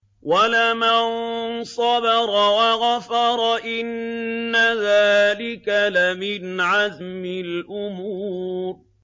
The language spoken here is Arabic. وَلَمَن صَبَرَ وَغَفَرَ إِنَّ ذَٰلِكَ لَمِنْ عَزْمِ الْأُمُورِ